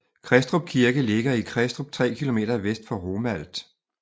Kristrup Kirke ligger i Kristrup 3 km vest for Romalt